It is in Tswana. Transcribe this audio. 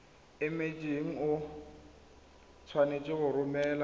emetseng o tshwanetse go romela